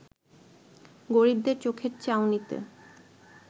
গরিবদের চোখের চাউনিতে